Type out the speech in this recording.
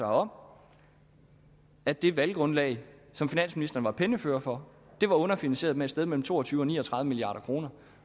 om at det valggrundlag som finansministeren var pennefører for var underfinansieret med et sted mellem to og tyve og ni og tredive milliard kroner